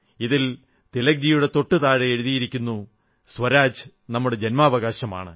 ഇതിൽ തിലക്ജിയുടെ തൊട്ടു താഴെ എഴുതിയിരിക്കുന്നു സ്വരാജ് നമ്മുടെ ജന്മാവകാശമാണ്